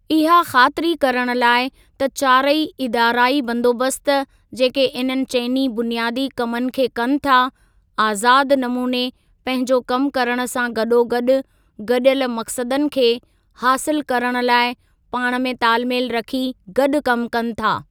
इहा ख़ातिरी करण लाइ त चारई इदाराई बंदोबस्त जेके इन्हनि चइनी बुनियादी कमनि खे कनि था, आज़ाद नमूने पंहिंजो कम करण सां गॾोगॾु गॾियल मक़सदनि खे हासिल करण लाइ पाण में तालमेल रखी गॾु कम कनि।